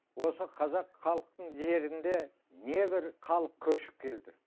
осы қазақ халқының жерінде небір халық көшіп келді